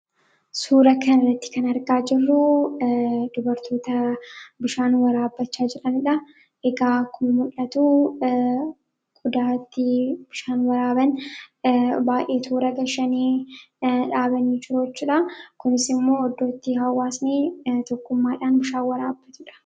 Suuraa kana irratti kan argaa jiru, dubartoota bishaan waraabachaa jiranidha. Egaa akkuma muldhatu qodaa ittii bishaan waraabani baay'ee toora gashanii, dhaabanii jiru jechudha. Kunis immoo iddootti hawwaasnii tokkummaadhaan bishaan waraabatudha.